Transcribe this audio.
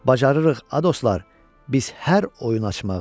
Bacarırıq, ə dostlar, biz hər oyun açmağı.